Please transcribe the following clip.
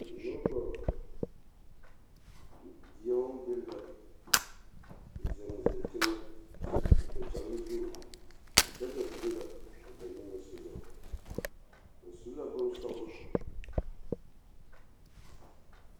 Nobɔ beɛoŋ be la zeŋ zeŋ teŋɛ, se dakyagere zu, daga biŋ la a ba niŋesogɔ. Ba su la bonsɔglɔ.